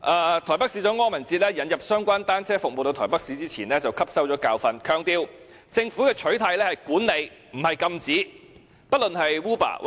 台北市長柯文哲引入相關單車服務到台北市前，便汲取了教訓，強調政府的取態是管理，而不是禁止。